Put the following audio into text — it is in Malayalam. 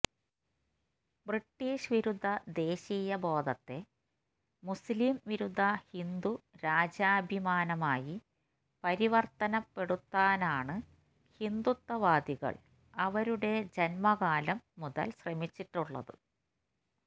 ബ്രിട്ടീഷ് വിരുദ്ധ ദേശീയ ബോധത്തെ മുസ്ലിം വിരുദ്ധ ഹിന്ദു രാജ്യാഭിമാനമായി പരിവര്ത്തനപ്പെടുത്താനാണ് ഹിന്ദുത്വ വാദികള് അവരുടെ ജന്മകാലം മുതല് ശ്രമിച്ചിട്ടുള്ളത്